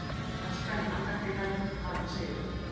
Flaskan í handarkrikanum hafði sigið.